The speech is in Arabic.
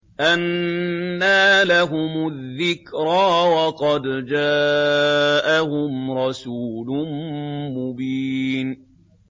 أَنَّىٰ لَهُمُ الذِّكْرَىٰ وَقَدْ جَاءَهُمْ رَسُولٌ مُّبِينٌ